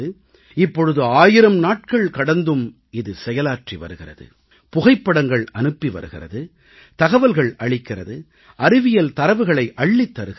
இப்பொழுது 1000 நாட்கள் கடந்தும் இது செயலாற்றி வருகிறது புகைப்படங்கள் அனுப்பி வருகிறது தகவல்கள் அளிக்கிறது அறிவியல் தரவுகளை அள்ளித் தருகிறது